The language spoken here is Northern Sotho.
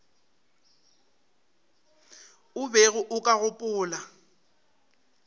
o bego o ka gopola